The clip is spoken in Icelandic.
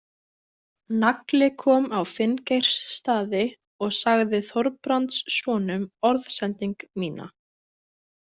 Nagli kom á Finngeirsstaði og sagði Þorbrandssonum orðsending mína.